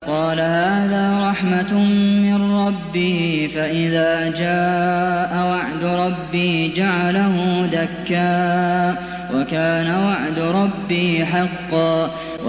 قَالَ هَٰذَا رَحْمَةٌ مِّن رَّبِّي ۖ فَإِذَا جَاءَ وَعْدُ رَبِّي جَعَلَهُ دَكَّاءَ ۖ وَكَانَ وَعْدُ رَبِّي حَقًّا